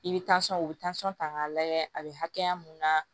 I bɛ u bɛ tansɔn ta k'a lajɛ a bɛ hakɛya mun na